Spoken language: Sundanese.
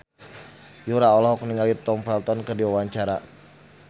Yura olohok ningali Tom Felton keur diwawancara